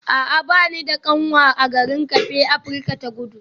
A'a ba ni da kanwa a garin Cape Afirka ta Kudu